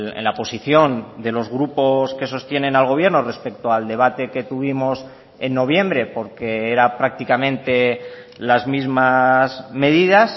en la posición de los grupos que sostienen al gobierno respecto al debate que tuvimos en noviembre porque era prácticamente las mismas medidas